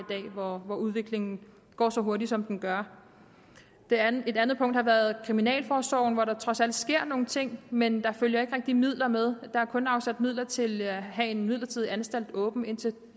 hvor udviklingen går så hurtigt som den gør et andet andet punkt har været kriminalforsorgen hvor der trods alt sker nogle ting men der følger ikke rigtig midler med der er kun afsat midler til at have en midlertidig anstalt åben indtil